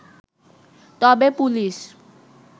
তবে পুলিশ